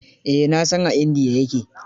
Eh na san a India ya ke.